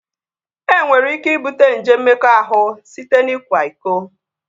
E nwere ike ibute nje mmekọahụ site n'ikwa iko